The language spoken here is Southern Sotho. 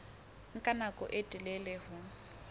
nka nako e telele ho